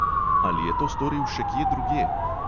Ali je to storil še kje drugje?